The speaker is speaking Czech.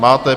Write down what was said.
Máte.